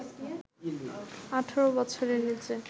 ১৮ বছরের নিচে